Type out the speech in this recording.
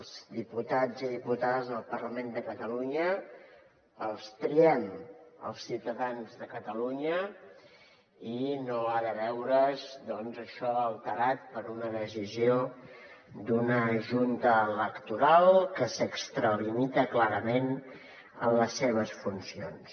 els diputats i diputades del parlament de catalunya els triem els ciutadans de catalunya i no ha de veure’s això alterat per una decisió d’una junta electoral que s’extralimita clarament en les seves funcions